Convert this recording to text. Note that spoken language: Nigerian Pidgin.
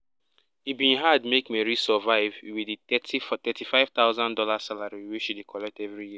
e bin hard make mary survive wit di thirty five thousand dollars salary wey she dey collect every year